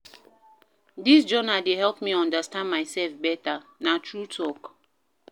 Dis journal dey help me understand mysef beta, na true talk.